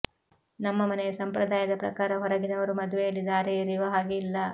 ನಮ್ಮ ಮನೆಯ ಸಂಪ್ರದಾಯದ ಪ್ರಕಾರ ಹೊರಗಿನವರು ಮದುವೆಯಲ್ಲಿ ದಾರೆ ಎರೆಯುವ ಹಾಗೆ ಇಲ್ಲ